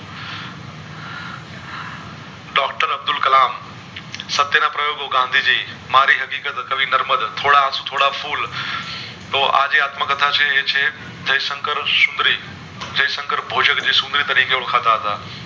અબ્દુલ કલામ સત્ય ના પ્રયોગો ગાંધી જી મારી હકીકત કવિ નીર્મદ થોડા આસું થોડા ફૂલ તો આજે આત્મ કથા છે એ છે જય શકર સુંદરી જય શકર ભોજ એ સુંદરી તરીકે ઑળખતા હતા